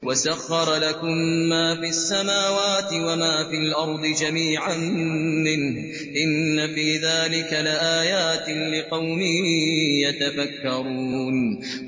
وَسَخَّرَ لَكُم مَّا فِي السَّمَاوَاتِ وَمَا فِي الْأَرْضِ جَمِيعًا مِّنْهُ ۚ إِنَّ فِي ذَٰلِكَ لَآيَاتٍ لِّقَوْمٍ يَتَفَكَّرُونَ